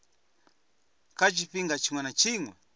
kha tshifhinga tshiṅwe na tshiṅwe